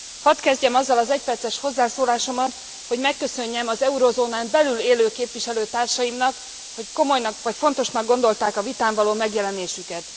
Hadd kezdjem azzal az egyperces hozzászólásomat, hogy megköszönjem az eurozónán belül élő képviselőtársaimnak, hogy fontosnak gondolták a vitán való megjelenésüket.